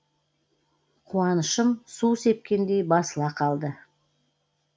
куанышым су сепкендей басыла қалды